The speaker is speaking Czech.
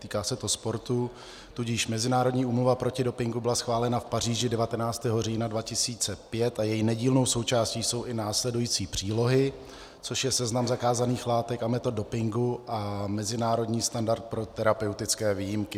Týká se to sportu, tudíž Mezinárodní úmluva proti dopingu byla schválena v Paříži 19. října 2005 a její nedílnou součástí jsou i následující přílohy, což je seznam zakázaných látek a metod dopingu a mezinárodní standard pro terapeutické výjimky.